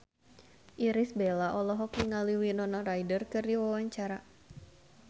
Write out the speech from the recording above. Irish Bella olohok ningali Winona Ryder keur diwawancara